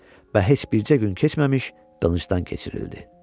Və heç bircə gün keçməmiş qılıncdan keçirildi.